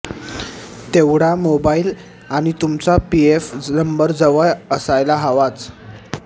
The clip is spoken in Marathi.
तेवढा मोबाईल आणि तुमचा पीएफ नंबर जवळ असायला हवाच